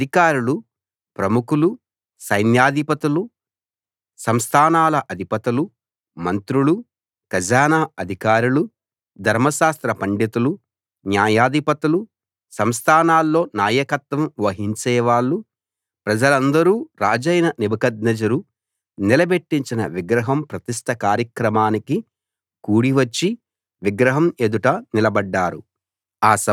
ఆ అధికారులు ప్రముఖులు సైన్యాధిపతులు సంస్థానాల అధిపతులు మంత్రులు ఖజానా అధికారులు ధర్మశాస్త్ర పండితులు న్యాయాధిపతులు సంస్థానాల్లో నాయకత్వం వహించేవాళ్ళు ప్రజలందరూ రాజైన నెబుకద్నెజరు నిలబెట్టించిన విగ్రహం ప్రతిష్ఠ కార్యక్రమానికి కూడివచ్చి విగ్రహం ఎదుట నిలబడ్డారు